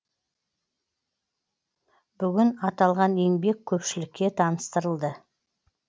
бүгін аталған еңбек көпшілікке таныстырылды